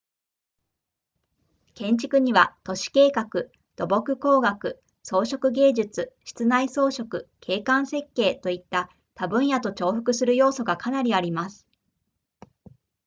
建築には都市計画土木工学装飾芸術室内装飾景観設計といった他分野と重複する要素がかなりあります